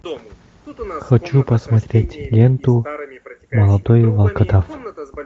хочу посмотреть ленту молодой волкодав